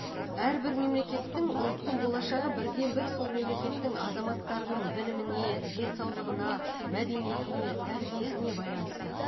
әрбір мемлекеттің ұлттың болашағы бірден бір сол мемлекеттің азаматтарының біліміне денсаулығына мәдениетіне тәрбиесіне байланысты